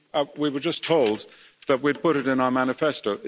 We were just told that we'd put it in our manifesto.